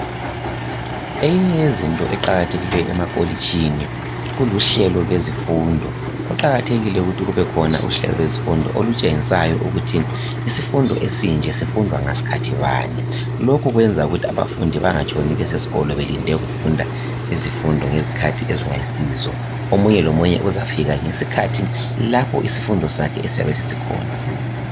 Eyinye yezinto eqakathekileyo amakolishini, kuluhlelo lwezemfundo. Kuqakathekile ukuthi kube khona uhlelo lezemfundo olutshengisayo ukuthi isifundo esinje sifundwa ngasikhathi bani. Lokhu kwenza ukuthi abafundi bangatshoni besesikolo belinde ukufunda izifundo ngezikhathi ezingayisizo. Omunye lomunye uzafika ngesikhathi lapho isifundo sakhe siyabe sesikhona.